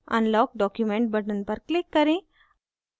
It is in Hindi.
unlock document button पर click करें